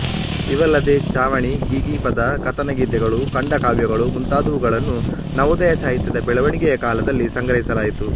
ಇವಲ್ಲದೆ ಲಾವಣಿ ಗೀಗೀ ಪದಕಥನಗೀತೆಗಳು ಖಂಡಕಾವ್ಯಗಳು ಮುಂತಾದುವುಗಳನ್ನು ನವೋದಯ ಸಾಹಿತ್ಯದ ಬೆಳವಣಿಗೆಯ ಕಾಲದಲ್ಲಿ ಸಂಗ್ರಹಿಸಲಾಯಿತು